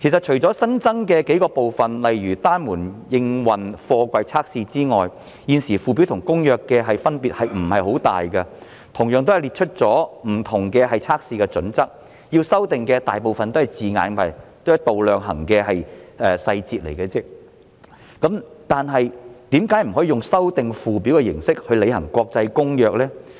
除了新增的數個部分，例如單門營運貨櫃測試之外，附表與《公約》的分別不太大，同樣列出了不同測試的準則，大部分要修訂的也是用詞及度量衡的細節，但為何不可以用修訂附表的形式來履行《公約》呢？